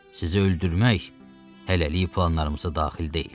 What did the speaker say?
Sizi öldürmək hələlik planlarımıza daxil deyil.